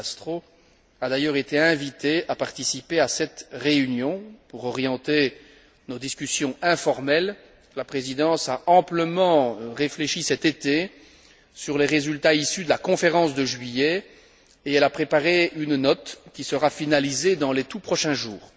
De Castro, a d'ailleurs été invité à participer à cette réunion pour orienter nos discussions informelles. La Présidence a amplement réfléchi cet été sur les résultats issus de la conférence de juillet et elle a préparé une note qui sera finalisée dans les tout prochains jours.